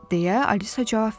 deyə Alisa cavab verdi.